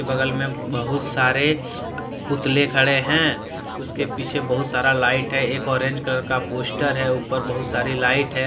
बगल में बहुत सारे पुतले खड़े हैं उसके पीछे बहुत सारा लाइट है एक ऑरेंज कलर का पोस्टर है ऊपर बहुत सारी लाइट है।